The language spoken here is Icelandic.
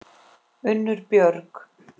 Unnur Björg.